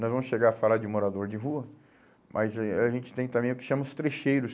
Nós vamos chegar a falar de morador de rua, mas eh a gente tem também o que chamam os trecheiros.